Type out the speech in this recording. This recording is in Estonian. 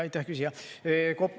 Aitäh, küsija!